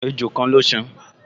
Ejò kan ló san